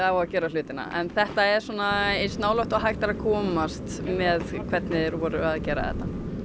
að gera hlutina en þetta er svona eins nálægt og hægt er að komast með hvernig þeir voru að gera þetta